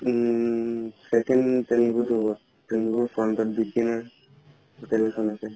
উম বিকেনাৰ hotel খন আছে